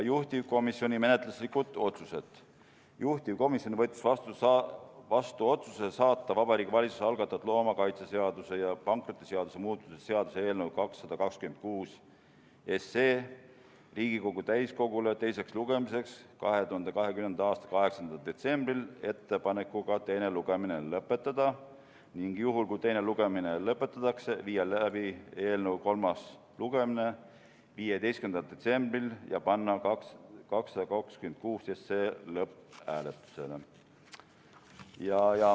Juhtivkomisjoni menetluslikud otsused: juhtivkomisjon võttis vastu otsuse saata Vabariigi Valitsuse algatatud loomakaitseseaduse ja pankrotiseaduse muutmise seaduse eelnõu 226 Riigikogu täiskogule teiseks lugemiseks 2020. aasta 8. detsembri istungil ettepanekuga teine lugemine lõpetada ning juhul, kui teine lugemine lõpetatakse, viia läbi eelnõu kolmas lugemine 15. detsembril ja panna 226 SE lõpphääletusele.